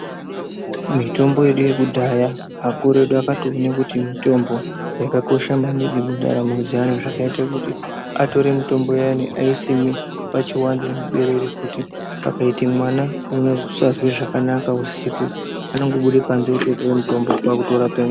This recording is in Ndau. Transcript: Mitombo yedu yekudhaya akuru edu akatoone kuti mitombo yakakosha maningi mundaramo zvakaite kuti atore mitombo iyani aisime pachiwanze muberere kuti pakaite mwana unosazwe zvakanaka anongobude panze otore mutombo otorape mwana .